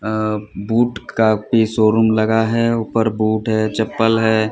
अं boot काफि showroom लगा है ऊपर बूट है चप्पल है।